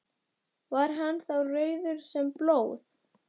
Var hann þá rauður sem blóð.